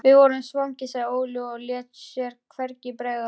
Við vorum svangir, sagði Óli og lét sér hvergi bregða.